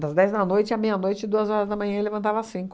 Das dez da noite à meia-noite e duas horas da manhã eu levantava às cinco.